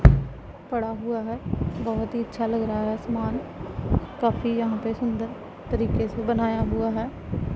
पढ़ा हुआ है बहोत ही अच्छा लग रहा है आसमान काफी यहां पर सुंदर तरीके से बनाया हुआ है।